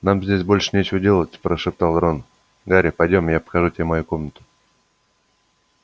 нам здесь больше нечего делать прошептал рон гарри пойдём я покажу тебе мою комнату